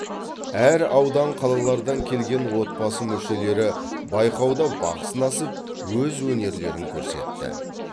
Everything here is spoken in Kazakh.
әр аудан қалалардан келген отбасы мүшелері байқауда бақ сынасып өз өнерлерін көрсетті